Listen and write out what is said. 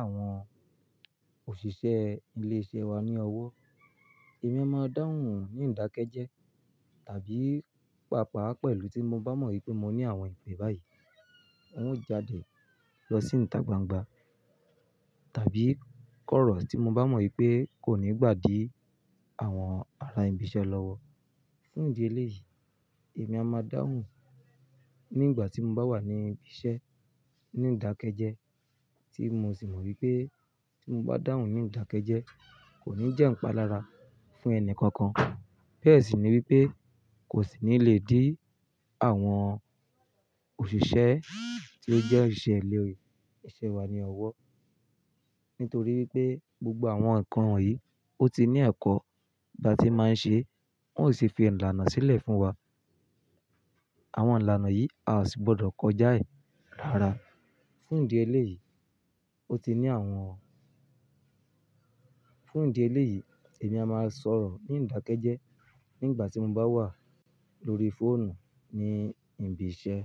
àwọn òṣìṣẹ́ ilé-iṣẹ́ wa ní ọwọ́. Èmi a máa dáhùn ní ìdákẹ́jẹ́ tàbí pàápàá pẹ̀lú tí mo bá mọ̀ wípé mo ní àwọn ìpè báyìí. Wọn ó jáde lọ sínú ìtà gbangba tàbí kọ̀rọ̀ tí mo bá mọ̀ wípé kò ní gbà di àwọn ará ibi iṣẹ́ lọ́wọ́. Fún ìdí eléyìí, èmi a máa dáhùn nígbà tí mo bá wà ní ibi iṣẹ́ ní ìdákẹ́jẹ́ tí mo sì mọ̀ wípé tí mo bá dáhùn ní ìdákẹ́jẹ́ kò ní jẹ́ ǹ pa lára fún ẹni kankan. Bẹ́ẹ̀ sì ni wípé kò sì ní lè dí àwọn òṣìṣẹ́ tí ó jẹ́ òṣìṣẹ́ ilé-iṣẹ́ wa ní ọwọ́. Nítorí pé gbogbo àwọn ǹkan wọ̀nyí ó ti ní ẹ̀kọ́ bá ti máa ń ṣe, wón ò sì fi ìlànà sílẹ̀ fún wa. Àwọn ìlànà yìí a sì gbọ́dọ̀ kọjá ẹ̀ rára. Fún ìdí eléyìí, ó ti ní àwọn Fún ìdí eléyìí, èmi a máa sọ̀rọ̀ ní ìdákẹ́jẹ́ nígbà tí mo bá wà lórí fóònù ní ibi iṣẹ́.